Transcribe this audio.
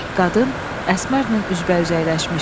Qadın Əsmərlə üz-bəüz əyləşmişdi.